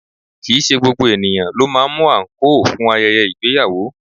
Kìí ṣe gbogbo ènìyàn ló máa ń mú àǹkóò fún ayẹyẹ ìgbéyàwó